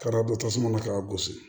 Ka da don tasuma na k'a gosi